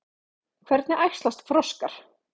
Hvernig æxlast froskar?